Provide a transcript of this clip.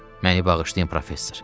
Məni bağışlayın, professor.